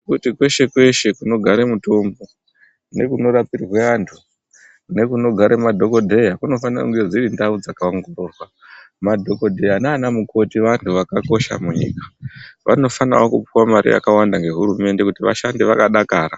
Kweshe-kweshe kunogare mutombo, nekunorapirwe antu nekunogare madhokodheya kunofane kunge dziri ndau dzakaongororwa. Madhokodheya naanamukoti vanhu zvakakosha munyika. Vanofanawo kupuwe mare yakawanda ngehurumende kuti vashande vakadakara.